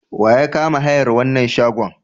Wa ya kama hayar wannan shagon?